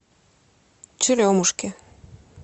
черемушки